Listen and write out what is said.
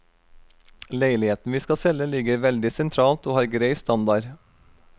Leiligheten vi skal selge ligger veldig sentralt og har grei standard.